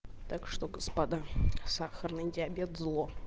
так что господа сахарный диабет зло